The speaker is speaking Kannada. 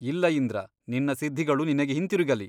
ಇಲ್ಲ ಇಂದ್ರ ನಿನ್ನ ಸಿದ್ಧಿಗಳು ನಿನಗೆ ಹಿಂತಿರುಗಲಿ.